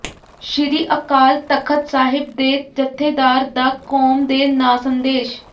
ਸ਼੍ਰੀ ਅਕਾਲ ਤਖ਼ਤ ਸਾਹਿਬ ਦੇ ਜੱਥੇਦਾਰ ਦਾ ਕੌਮ ਦੇ ਨਾਂ ਸੰਦੇਸ਼